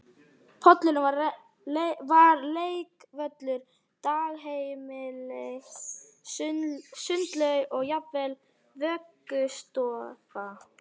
Pollurinn var leikvöllur, dagheimili, sundlaug og jafnvel vöggustofa